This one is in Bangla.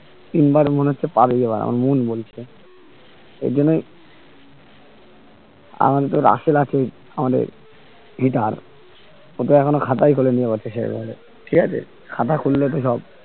তিনবার মনে হচ্ছে পাবেই এবার আমার মন বলছে আর জন্যেই আমাদের তো রাসেল আছে আমাদের hitter ও তো এখনো খাতায় খোলেনি এইবার তো সেই ভাবে ঠিক আছে খাতা খুললে তো সব